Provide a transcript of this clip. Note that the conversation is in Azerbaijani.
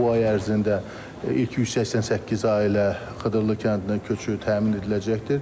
Bu ay ərzində ilk 188 ailə Xıdırılı kəndinə köçürül təmin ediləcəkdir.